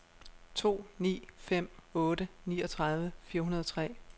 to ni fem otte niogtredive fire hundrede og tre